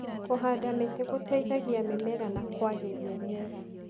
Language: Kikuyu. Kũhanda mĩtĩ gũteithagia mĩmera na kwagĩria rĩera.